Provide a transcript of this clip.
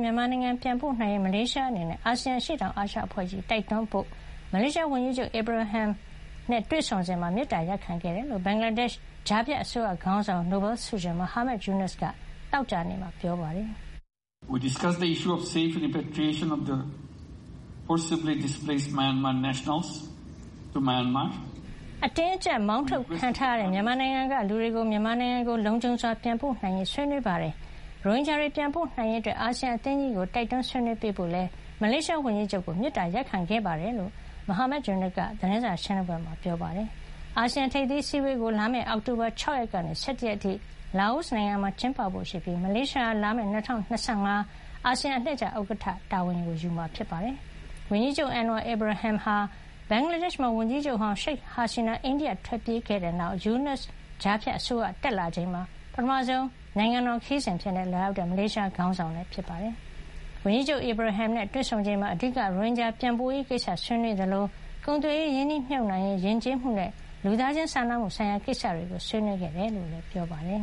မြန်မာနိုင်ငံ ပြန်ပို့နိုင်ရေး မလေးရှားအနေနဲ့ အာဆီယံ အရှေ့တောင်အာရှအဖွဲ့ကြီးကို တိုက်တွန်းပေးဖို့ မလေးရှားဝန်ကြီးချုပ် Anwar Ibrahim နဲ့တွေဆုံစဉ် မေတ္တာရပ်ခံခဲ့တယ်လို့ ဘင်္ဂလားဒေ့ရှ် ကြား ဖြတ်အစိုးရခေါင်းဆောင် နိုဘယ်ဆုရှင် Muhammad Yunus သောကြာနေ့မှာ ပြောပါတယ်။ “ ကျနော်တို့အနေနဲ့ အတင်းအကြပ် မောင်းထုတ်ခံထားရတဲ့ မြန်မာနိုင်ငံက လူတွေကို မြန်မာနိုင်ငံကို လုံခြုံစွာပြန်ပို့နိုင်ရေး ဆွေးနွေးခဲ့ပါတယ်။ ရိုဟင်ဂျာတွေ ပြန်ပို့နိုင်ရေးအတွက် အာဆီယံအသင်းကြီးကို တိုက်တွန်း ဆွေးနွေးပေးဖို့ကိုလည်း မလေးရှားဝန်ကြီးချုပ်ကို မေတ္တာရပ်ခံခဲ့ပါတယ်။” လို့ မိုဟာမက်ယူနွတ်က သတင်းစာရှင်းလင်းပွဲမှာ ပြောပါတယ်။ အာဆီယံ ထိပ်သီးအစည်းအဝေးကို လာမယ့် အောက်တိုဘာလ ၆ ရက်နေ့ကနေ ၁၁ ရက်နေ့အထိ လာအိုနိုင်ငံမှာ ကျင်းပဖို့ရှိပြီး မလေးရှားဟာ လာမယ့် ၂၀၂၅ ခုနှစ်မှာ အာဆီယံ အလှည့်ကျ ဥက္ကဌအဖြစ် တာဝန်ယူမှာဖြစ်ပါတယ်။ ဝန်ကြီးချုပ် Anwar Ibrahim ဟာ ဘင်္ဂလားဒေ့ရှ်မှာ ဝန်ကြီးချုပ်ဟောင်း ရှိတ်ဟာဆီနာ အိန္ဒိယကို ထွက်ပြေးသွားခဲ့တဲ့နောက်၊ Yunus ကြားဖြတ်အစိုးရ တက်လာချိန်မှာ ပထမဆုံး နိုင်ငံတော်ခရီးစဉ်အဖြစ် လာရောက်တဲ့ မလေးရှားခေါင်းဆောင် ဖြစ်ပါတယ်။ ဝန်ကြီးချုပ် အီဗရာဟင်နဲ့ တွေ့ဆုံချိန်မှာ အဓိက အချက် ၃ ချက်ကို ဆွေးနွေးခဲ့ကြောင်းနဲ့ တချက်က ရိုဟင်ဂျာပြန်ပို့ရေးကိစ္စ ဖြစ်တယ်လို့ မိုဟာမက်ယူနွတ်က ပြောပါတယ်။ ကုန်သွယ်ရေး၊ ရင်းနှီးမြှုပ်နှံရေး၊ ယဉ်ကျေးမှုနဲ့လူသားခြင်းစာနာမှုဆိုင်ရာ ကိစ္စတွေကိုလည်း ဆွေးနွေးခဲ့တယ်လို့ ပြောပါတယ်